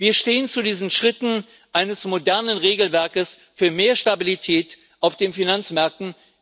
Wir stehen zu diesen Schritten eines modernen Regelwerkes für mehr Stabilität auf den Finanzmärkten.